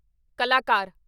ਕਲਾਕਾਰ